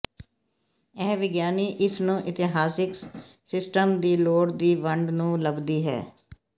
ਇਹ ਵਿਗਿਆਨੀ ਇਸ ਨੂੰ ਇਤਿਹਾਸਕ ਸਿਸਟਮ ਦੀ ਲੋੜ ਦੀ ਵੰਡ ਨੂੰ ਲੱਭਦੀ ਹੈ